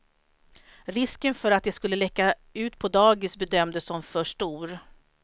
Risken för att det skulle läcka ut på dagis bedömdes som för stor.